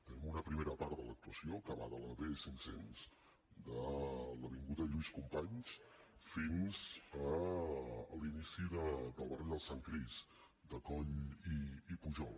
tenim una primera part de l’actuació que va de la bcinc cents de l’avinguda lluís companys fins a l’inici del barri del sant crist de coll i pujol